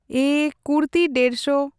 ᱮᱸᱻ ᱠᱩᱨᱛᱤ ᱰᱮᱲᱥᱚ᱾